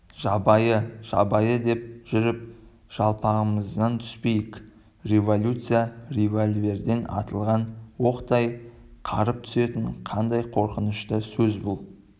жабайы жабайы деп жүріп жалпамыздан түспейік революция револьверден атылған оқтай қарып түсетін қандай қорқынышты сөз бұл